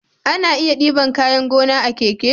Ana iya diban kayan gona a keke